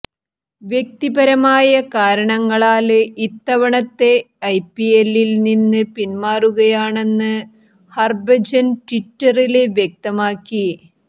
വ്യക്തിപരമായ കാരണങ്ങളാല് ഇത്തവണത്തെ ഐപിഎല്ലില് നിന്ന് പിന്മാറുകയാണെന്ന് ഹര്ഭജന് ട്വിറ്ററില് വ്യക്തമാക്കി